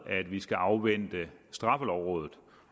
at vi skal afvente straffelovrådet